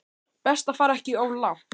Best að fara ekki of langt.